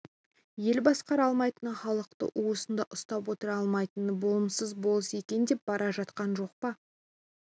ел басқара алмайтын халықты уысында ұстап отыра алмайтын болымсыз болыс екен деп бара жатқан жоқ па